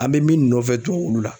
An bɛ min nɔfɛ tuwa wulu la